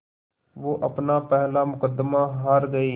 वो अपना पहला मुक़दमा हार गए